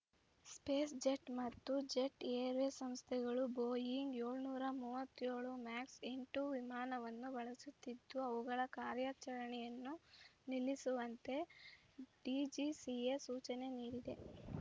SpiceJet ಮತ್ತು Jet Airway ಸಂಸ್ಥೆಗಳು Boeing ಏಳುನೂರ ಮೂವತ್ತೇಳು ಮ್ಯಾಕ್ಸ್ ಎಂಟು ವಿಮಾನವನ್ನು ಬಳಸುತ್ತಿದ್ದು ಅವುಗಳ ಕಾರ್ಯಾಚರಣೆಯನ್ನು ನಿಲ್ಲಿಸುವಂತೆ ಡಿಜಿಸಿಎ ಸೂಚನೆ ನೀಡಿದೆ